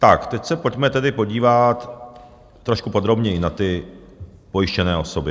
Tak teď se pojďme tedy podívat trošku podrobněji na ty pojištěné osoby.